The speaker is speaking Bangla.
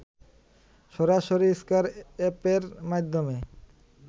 সরাসরি স্কয়ার অ্যাপের মাধ্যমে